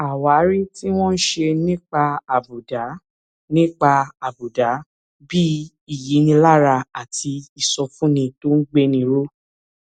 àwárí tí wón ṣe nípa àbùdá nípa àbùdá bí ìyínilára àti ìsọfúnni tó ń gbéni ró